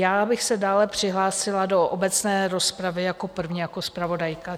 Já bych se dále přihlásila do obecné rozpravy jako první jako zpravodajka.